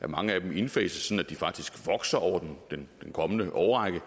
mange af dem indfases sådan at de faktisk vokser over den kommende årrække